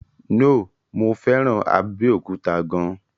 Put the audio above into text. No, mo fẹ́ràn Abẹ́òkúta gan an.